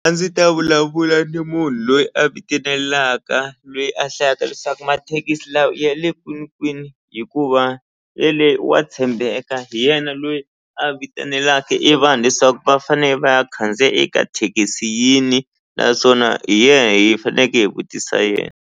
A ndzi ta vulavula ni munhu loyi a vitenelaka lweyi a hlayaka leswaku mathekisi lawa i ya le kwinikwini hikuva wa tshembeka hi yena loyi a vitenelaku e vanhu leswaku va fanele va ya khandziya eka thekisi yini naswona hi ye hi faneke hi vutisa yena.